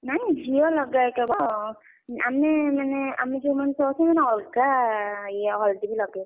ନାଇଁ ଝିଅ ଲଗାଇ କେବଳ ଆମେମାନେ ଆମେ ଯୋଉମାନେ ସବୁ ଅଛୁନା ଅଲଗା ଇଏ ହଳଦୀ ବି ଲଗେଇବା।